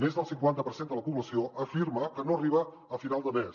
més del cinquanta per cent de la població afirma que no arriba a final de mes